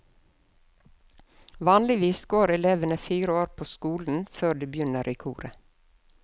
Vanligvis går elevene fire år på skolen før de begynner i koret.